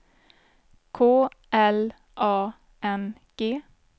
K L A N G